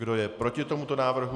Kdo je proti tomuto návrhu?